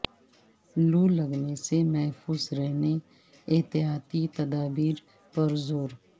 لو لگنے سے محفوظ رہنے احتیاطی تدابیر پر زور